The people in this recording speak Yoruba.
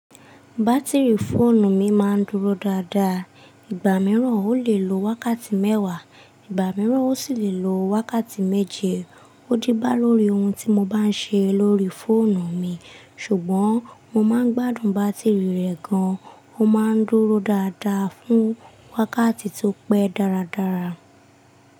Bátìrì fóònù mi máa ń dúró dáadáa. Ìgbà mìíràn ó lè lo wákàtí mẹ́wàá, ìgbà mìíràn ó sì lè lo wákàtí méje. Ó díbá lórí ohun tí mo bá ń ṣe lórí fóònù mi, ṣùgbọ́n mo má ń gbádùn bátìrì rẹ̀ gan. Ó má ń dúró dáadáa fún wákàtí tó pẹ́ dáradára.